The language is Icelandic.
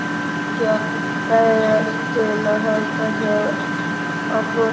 Ætlarðu ekki að berjast til að halda þér á floti?